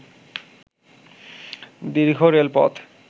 দীর্ঘ রেলপথ